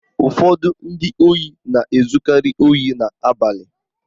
Ụfọdụ ndị ohi na-ezukari ohi n'abalị